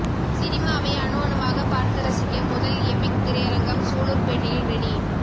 சினிமாவை அணு அணுவாக பார்த்து ரசிக்க முதல் எபிக் திரையரங்கம் சூலூர்பேட்டையில் ரெடி